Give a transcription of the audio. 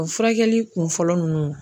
O furakɛli kun fɔlɔ nunnu.